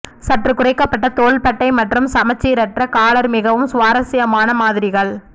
சற்று குறைக்கப்பட்ட தோள்பட்டை மற்றும் சமச்சீரற்ற காலர் மிகவும் சுவாரசியமான மாதிரிகள்